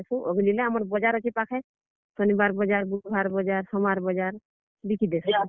ଅଗ୍ ଲିଲେ, ଆମର୍ ବଜାର୍ ଅଛେ ପାଖେ, ଶନିବାର୍ ବଜାର୍, ବୁଧବାର୍ ବଜାର୍, ସୋମବାର୍ ବଜାର୍ ବିକିଦେସୁ।